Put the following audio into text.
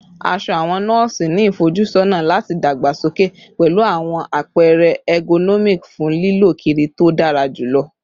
Aṣọ awọn nọọsi ni ifojusọna lati dagbasoke pẹlu awọn apẹrẹ ergonomic fun lilọ kiri to dara julọ